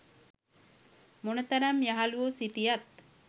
මොන තරම් යහළුවො සිටියත්